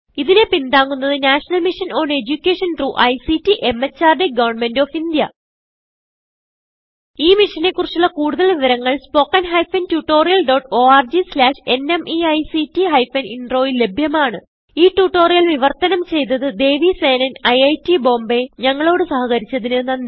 ഇതിനെ പിന്താങ്ങുന്നത് national mission on education through ICT MHRD government of India ഈ മിഷനെ കുറിച്ചുള്ള കുടുതൽ വിവരങ്ങൾ spoken hyphen tutorial dot org slash NMEICT hyphen Introൽ ലഭ്യമാണ് ഈ ട്യൂട്ടോറിയൽ വിവർത്തനം ചെയ്തത് ദേവി സേനൻIIT ബോംബേ ഞങ്ങളോട് സഹകരിച്ചതിന് നന്ദി